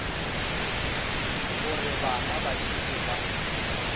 gore bana ba šetše ba